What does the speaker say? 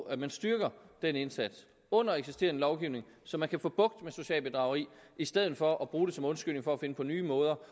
at man styrker den indsats under eksisterende lovgivning så man kan få bugt med socialt bedrageri i stedet for at bruge det som undskyldning for at finde på nye måder